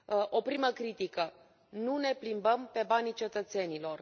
O primă critică nu ne plimbăm pe banii cetățenilor.